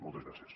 moltes gràcies